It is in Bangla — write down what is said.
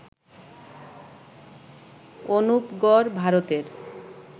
অনুপগড়, ভারতের